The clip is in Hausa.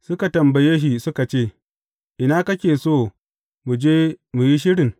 Suka tambaye shi suka ce, Ina kake so mu je mu yi shirin?